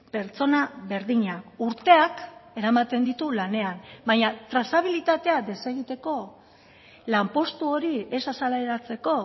pertsona berdina urteak eramaten ditu lanean baina trazabilitatea desegiteko lanpostu hori ez azaleratzeko